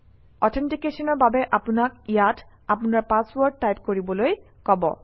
অথেণ্টিকেশ্যনৰ বাবে আপোনাক ইয়াত আপোনাৰ পাছৱৰ্ড টাইপ কৰিবলৈ কব